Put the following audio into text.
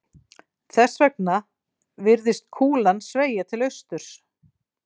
Þess vegna virðist kúlan sveigja til austurs.